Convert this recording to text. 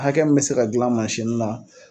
Hakɛ min bɛ se ka dilan mansini la.